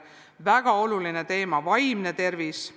Väga oluline teema on olnud vaimne tervis.